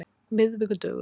miðvikudögum